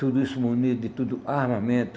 Tudo isso munido de tudo armamento?